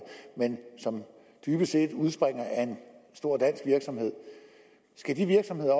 men som dybest set udspringer af en stor dansk virksomhed skal de virksomheder